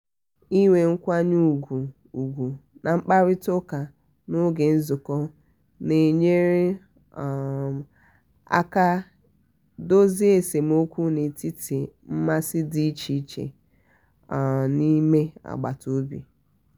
inwe nkwanye ùgwù ùgwù na mkparita ụka n'oge nzukọ na-enyere um aka dozie esemokwu n'etiti mmasi dị iche iche um n'ime agbata obi.